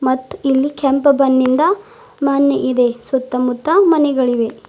ಮತ್ತ ಇಲ್ಲಿ ಕೆಂಪ ಬಣ್ಣಿಂದ ಮಣ್ಣ ಇದೆ ಸುತ್ತ ಮುತ್ತ ಮನೆಗಳಿದೆ.